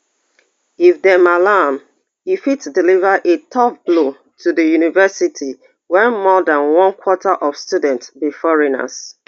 if dem allow am e fit deliver a tough blow to di university where more dan one quarter of students be foreigners